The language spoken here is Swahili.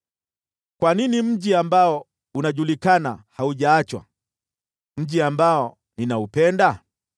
Kwa nini mji ambao unajulikana haujaachwa, mji ambao ninaupenda?